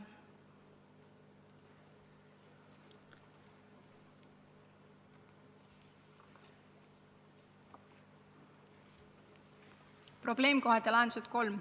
Probleemkohad ja lahendused, punkt 3.